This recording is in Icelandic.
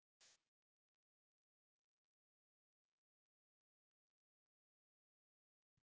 Linda: En komið þið hingað oft?